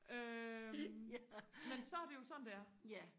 øh men så er det jo sådan det er